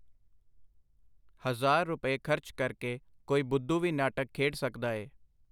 ਹਜ਼ਾਰ ਰੁਪਏ ਖਰਚ ਕਰ ਕੇ ਕੋਈ ਬੁੱਧੁ ਵੀ ਨਾਟਕ ਖੇਡ ਸਕਦਾ ਏ.